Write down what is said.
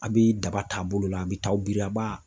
A bi daba taabolo la a bi taa biri a b'a.